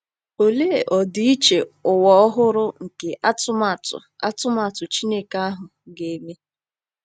Olee ọdịiche ụwa ọhụrụ nke atụmatụ atụmatụ Chineke ahụ ga-eme!